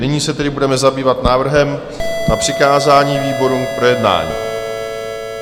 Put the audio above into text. Nyní se tedy budeme zabývat návrhem na přikázání výborům k projednání.